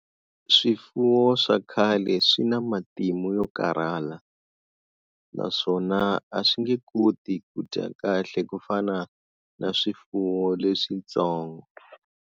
Swifuwo swa khale swi na matimu yo karhala naswona a swi nge koti ku dya kahle ku fana na swifuwo leswitsongo.